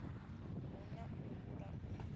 hu na u hula u